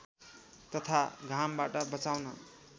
तथा घामबाट बचाउन